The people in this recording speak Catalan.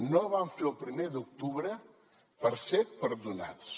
no vam fer el primer d’octubre per ser perdonats